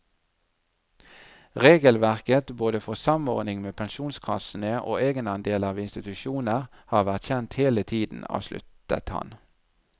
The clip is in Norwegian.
Regelverket både for samordning med pensjonskassene og egenandeler ved institusjoner har vært kjent hele tiden, avsluttet han.